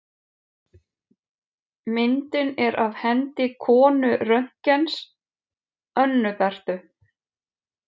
Myndin er af hendi konu Röntgens, Önnu Berthu.